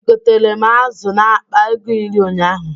E gotere m azụ a akpa ego iri ụnyaahụ.